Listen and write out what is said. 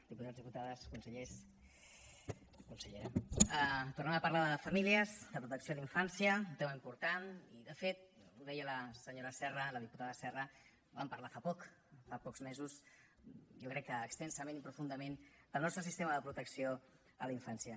diputats diputades consellers consellera tornem a parlar de famílies de protecció a la infància un tema important i de fet ho deia la senyora serra la diputada serra vam parlar fa poc fa pocs mesos jo crec que extensament i profundament del nostre sistema de protecció a la infància